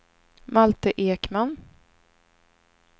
Malte Ekman